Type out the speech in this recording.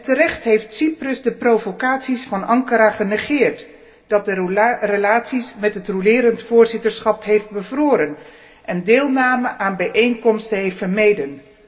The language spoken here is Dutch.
Terecht heeft Cyprus de provocaties van Ankara genegeerd, dat de relaties met het roulerend voorzitterschap heeft bevroren en deelname aan bijeenkomsten heeft vermeden.